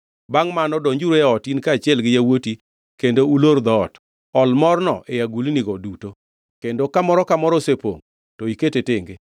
Bangʼ mano donjuru e ot in kaachiel gi yawuoti kendo ulor dhoot. Ol morno e agulnigo duto, kendo ka moro ka moro osepongʼ, to iket tenge.”